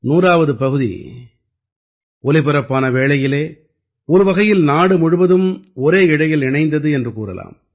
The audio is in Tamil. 100ஆவது பகுதி ஒலிபரப்பான வேளையிலே ஒருவகையில் நாடு முழுவதும் ஒரே இழையில் இணைந்தது என்று கூறலாம்